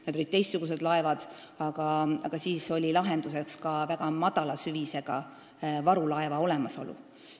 Need olid teistsugused laevad, aga siis oli lahenduseks ka väga madala süvisega varulaeva olemasolu.